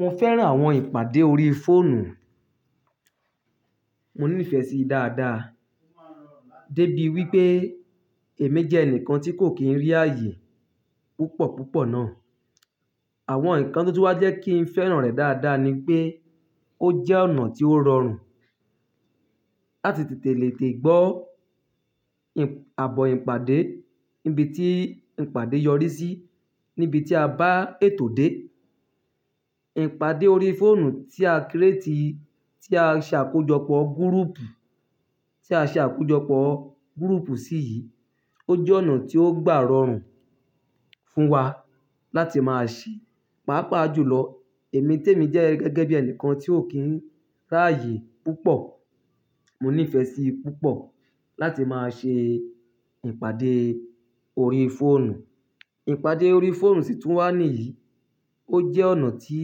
Mo fẹ́ran àwọn ìpàdé orí fóònù. Mo ní fẹ́ sí dáadáa, débi wípé èmi jẹ́ ẹnìkan tí kò kí ń rí ààyè púpọ̀ púpọ̀ náà. Àwọn ǹkan tó tún wá jẹ́ kí ń fẹ́ràn rẹ̀ dáadáa ni pé ó jẹ́ ọ̀nà tí ó rọrùn láti tètè lè tẹ̀ gbọ́ àbọ̀ ìpàdé níbi tí ìpàdé yọrí sí níbi tí a bá ètò dé. Ìpàdé orí fóònù tí a kírétì, tí a ṣe àkójọpọ̀ gúrúùpù, tí a ṣe àkójọpọ̀ gúrúùpù sí yi, ó jẹ́ ọ̀nà tí ó gbà rọrùn fún wa láti máa ṣí, pàápàá jùlọ èmi témi jẹ́ gẹ́gẹ́ bí ẹnìkan ti ò kín ń rààyè púpọ̀. Mo ní ìfẹ́ sí púpọ̀ láti máa ṣe ìpàdé orí fóònù. Ìpàdé orí fóònù sì tún wà níyì, ó jẹ́ ọ̀nà tí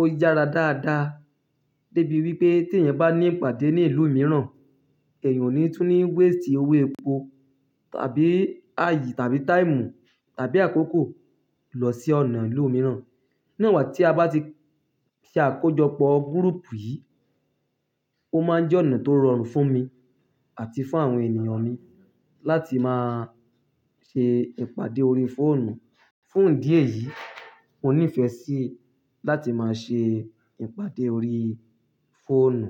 ó yára dáadáa débi wípé tí ẹ̀yan bá ní ìpàdé ní ìlú mìíràn, ẹ̀yan ò ni tun ni waste owó epo tàbí ààyè tàbí táìmù tàbí àkókò lọ sí ọ̀nà ìlú mìíràn. Ní won igba tí a bá ti ṣe àkójọpọ̀ gúrúùpù yìí, ó máa ń jẹ́ ọ̀nà tó rọrùn fún mi àti fún àwọn ènìyàn mi láti máa ṣe ìpàdé orí fóònù. Fún ìdí èyí, mo ní ìfẹ́ sí láti máa ṣe ìpàdé orí fóònù.